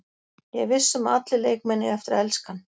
Ég er viss um að allir leikmenn eiga eftir að elska hann.